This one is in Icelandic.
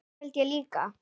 Það held ég líka